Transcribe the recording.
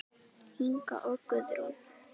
Inga og Guðrún.